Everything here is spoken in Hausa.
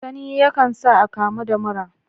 Sanyi yakan sa a akamu da mura